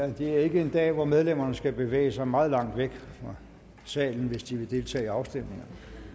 ja det er ikke en dag hvor medlemmerne skal bevæge sig meget langt væk fra salen hvis de vil deltage i afstemningerne